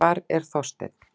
Hvar er Þorsteinn?